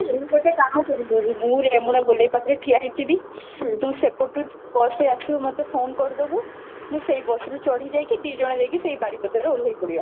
ମୁଁ ଗୋଟେ କାମ କରି ପାରିବି, ମୁଁ ରେମଣା ଗୋଳେଇ ପାଖରେ ଠିଆ ହେଇ ଯିବି ତୁ ସେପଟୁ bus ରେ ଆସିବୁ ମତେ phone କରିଦେବୁ, ମୁଁ ସେଇ bus ରେ ଚଢି ଯାଇକି ଦିଜଣ ଯାଇକି ସେ ବାରିପଦା ରେ ଓଲ୍ହେଇ ପଡିବା